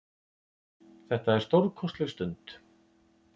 Þetta er stórkostleg stund.